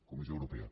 comissió europea